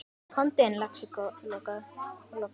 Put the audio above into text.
Komdu inn, lagsi, og lokaðu!